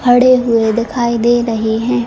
खड़े हुए दिखाई दे रहे है।